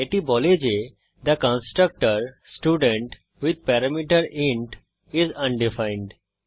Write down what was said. এটি বলে যে the constructor student with parameter is undefined